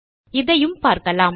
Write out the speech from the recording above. இதையும் பார்க்கலாம்